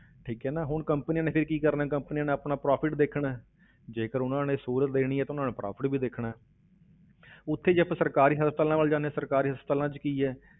ਠੀਕ ਹੈ ਨਾ, ਹੁਣ companies ਨੇ ਫਿਰ ਕੀ ਕਰਨਾ ਹੈ companies ਨੇ ਆਪਣਾ profit ਦੇਖਣਾ ਹੈ ਜੇਕਰ ਉਨ੍ਹਾਂ ਨੇ ਸਹੂਲਤ ਦੇਣੀ ਹੈ ਤਾਂ ਉਨ੍ਹਾਂ ਨੇ profit ਵੀ ਦੇਖਣਾ ਹੈ ਉੱਥੇ ਜੇ ਆਪਾਂ ਸਰਕਾਰੀ ਹਸਪਤਾਲਾਂ ਵੱਲ ਜਾਂਦੇ ਹਾਂ, ਸਰਕਾਰੀ ਹਸਪਤਾਲਾਂ ਵਿੱਚ ਕੀ ਹੈ